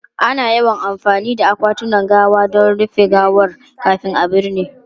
Ana yawan amfani da akwatunan gawa don rufe gawar kafin a binne.